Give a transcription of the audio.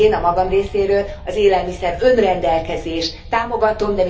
Én, a magam részéről az élelmiszer önrendelkezést támogatom.